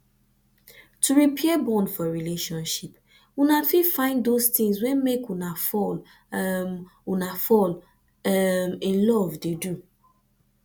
to repair bond for relationship una fit find those things wey make una fall um una fall um in love dey do